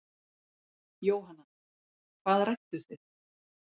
Jóhanna: Hvað rædduð þið?